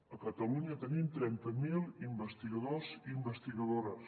a catalunya tenim trenta mil investigadors i investigadores